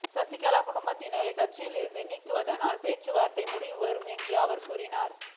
சசிகலா குடும்பத்தினரை கட்சியில் இருந்து நீக்கினால்தான் பேச்சுவார்த்தைக்கு முடிவு வரும் என்றும் அவர் கூறினார்